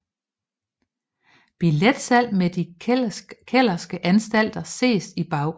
Billetsalg med De kellerske anstalter ses i baggrunden